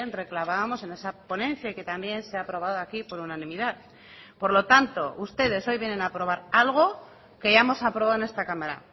reclamábamos en esa ponencia y que también se ha aprobado aquí por unanimidad por lo tanto ustedes hoy vienen a aprobar algo que ya hemos aprobado en esta cámara